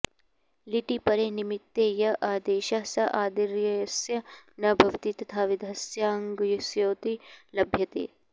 लिटि परे निमित्ते य आदेशः स आदिर्यस्य न भवति तथाविधस्याङ्गस्येति लभ्यते